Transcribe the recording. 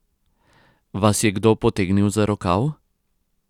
Vas je kdo potegnil za rokav?